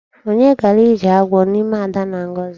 Onye gara ije agwọ n'ime Ada na Ngọzi?